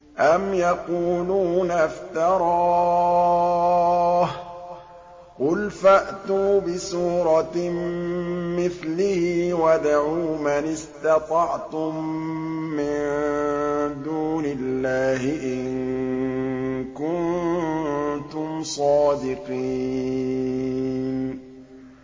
أَمْ يَقُولُونَ افْتَرَاهُ ۖ قُلْ فَأْتُوا بِسُورَةٍ مِّثْلِهِ وَادْعُوا مَنِ اسْتَطَعْتُم مِّن دُونِ اللَّهِ إِن كُنتُمْ صَادِقِينَ